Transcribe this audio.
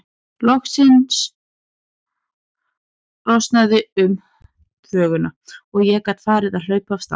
Loks losnaði um þvöguna og ég gat farið að hlaupa af stað.